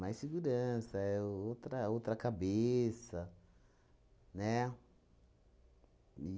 segurança, é outra outra cabeça, né?